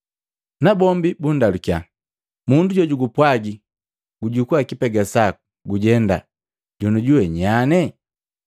Nabombi bundalukiya, “Mundu jojugupwaji, jukua kipega saku gujenda, jonujuwe nyanye?”